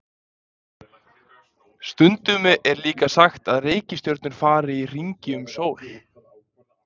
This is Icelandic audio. Stundum er líka sagt að reikistjörnurnar fari í hringi um sól.